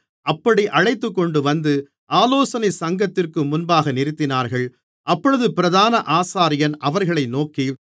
அப்படி அழைத்துக்கொண்டுவந்து ஆலோசனைச் சங்கத்திற்கு முன்பாக நிறுத்தினார்கள் அப்பொழுது பிரதான ஆசாரியன் அவர்களை நோக்கி